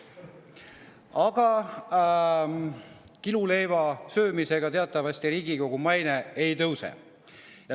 Aga kiluleiva söömise tõttu teatavasti Riigikogu maine ei tõuse.